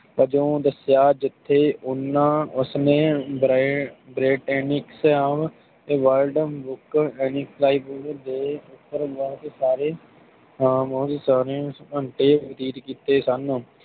ਓਦੋ ਦਸਿਆ ਜਿਥੇ ਓਹਨਾ ਉਸ ਨੇ ਬੜੇ ਬ੍ਰਾਟੇਨਿਕ੍ਸਆਓ ਤੇ ਵਲਡ ਬੁੱਕ ਇੰਸਿਕਲੋ ਦੇ ਬਾਰੇ ਰੀਝ ਕੀਤੇ ਸਨ